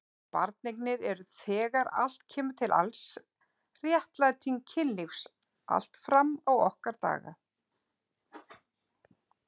Barneignir eru þegar allt kemur til alls réttlæting kynlífs allt fram á okkar daga.